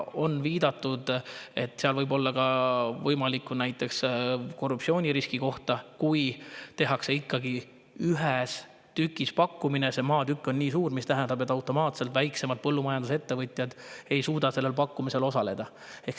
On viidatud, et seal võib olla korruptsiooniriski koht, kui see pakkumisele ikkagi ühes tükis: see maatükk on suur, mis tähendab automaatselt, et väiksemad põllumajandusettevõtjad ei suuda sellel pakkumisel osaleda.